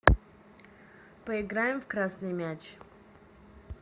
поиграем в красный мяч